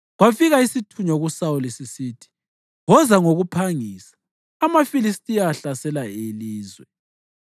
kwafika isithunywa kuSawuli, sisithi, “Woza ngokuphangisa! AmaFilistiya ahlasela ilizwe.”